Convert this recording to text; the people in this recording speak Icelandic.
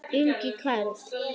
Ingi Karl.